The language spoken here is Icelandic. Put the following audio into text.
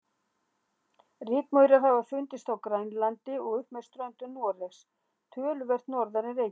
Rykmaurar hafa fundist á Grænlandi og upp með ströndum Noregs, töluvert norðar en Reykjavík.